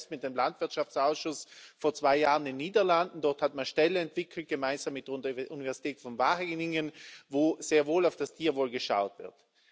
Ich war selbst mit dem Landwirtschaftsausschuss vor zwei Jahren in den Niederlanden. Dort hat man Ställe entwickelt gemeinsam mit der Universität von Wageningen, wo sehr wohl auf das Tierwohl geschaut wird.